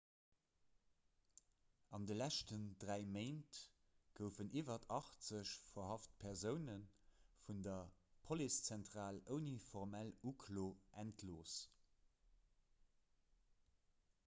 an de leschten 3 méint goufen iwwer 80 verhaft persoune vun der policezentral ouni formell uklo entlooss